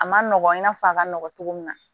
A ma nɔgɔn i n'a fɔ a ka nɔgɔn cogo min na